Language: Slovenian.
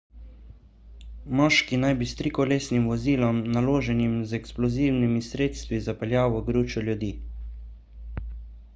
moški naj bi s trikolesnim vozilom naloženim z eksplozivnimi sredstvi zapeljal v gručo ljudi